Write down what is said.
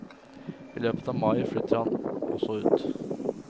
I løpet av mai flytter også han ut.